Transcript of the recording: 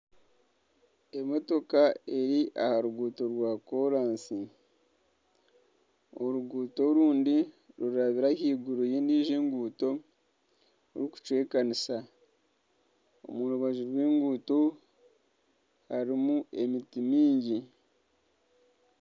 Emotoka eri ha ruguuto rwa koransi oruguuto orundi rurabire ahaiguru y'endiijo enguuto rukucwekanisa. Omu rubaju rw'enguuto harimu emiti mingi.